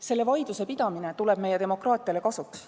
Selle vaidluse pidamine tuleb meie demokraatiale kasuks.